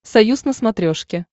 союз на смотрешке